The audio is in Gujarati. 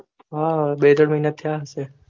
હા બે ત્રણ મહિના થયા હઈસે